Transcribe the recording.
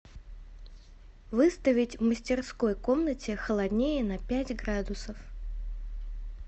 выставить в мастерской комнате холоднее на пять градусов